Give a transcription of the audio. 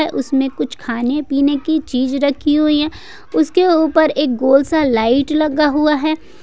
उसमें कुछ खाने पीने की चीज रखी हुई है उसके ऊपर एक गोल सा लाइट लगा हुआ है।